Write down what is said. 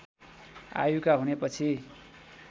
आयुका हुने पछि